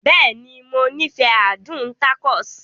Bẹ́ẹ̀ni, Mo nifẹ adun tacos.